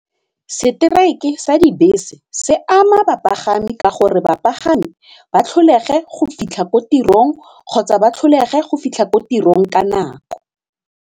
Strike-e sa dibese se ama bapagami ka gore bapagami ba tlholege go fitlha ko tirong kgotsa ba tlholege go fitlha ko tirong ka nako.